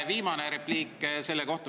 Viimane repliik selle kohta.